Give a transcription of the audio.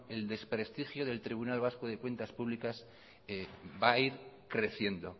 el desprestigio del tribunal vasco de cuentas públicas va a ir creciendo